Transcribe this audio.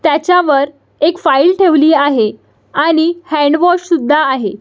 त्याच्या वर एक फाइल ठेवली आहे आणि हँड वॉश सुद्धा आहे.